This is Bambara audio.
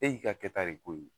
E y'i ka kɛta de k'o ye